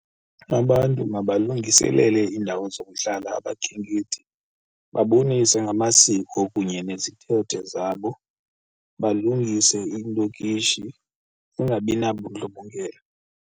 Abantu mabalungiselele iindawo zokuhlala abakhenkethi, babonise ngamasiko kunye nezithethe zabo, balungise iilokishi zingabi nabundlobongela.